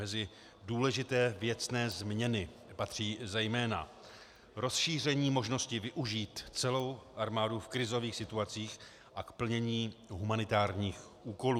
Mezi důležité věcné změny patří zejména rozšíření možnosti využít celou armádu v krizových situacích a k plnění humanitárních úkolů.